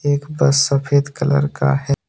एक बस सफेद कलर का है।